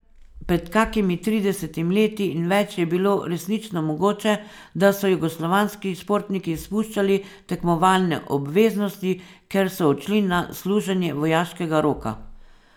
Pred kakimi tridesetimi leti in več je bilo resnično mogoče, da so jugoslovanski športniki izpuščali tekmovalne obveznosti, ker so odšli na služenje vojaškega roka.